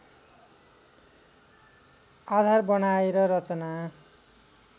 आधार बनाएर रचना